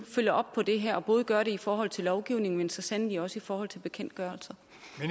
følger op på det her og både gør det i forhold til lovgivningen men så sandelig også i forhold til bekendtgørelser